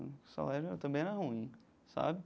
O salário também era ruim, sabe?